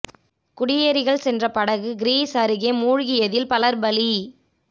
குடியேறிகள் சென்ற படகு கிரீஸ் அருகே மூழ்கியதில் பலர் பலி